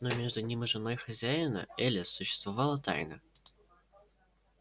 но между ним и женой хозяина элис существовала тайна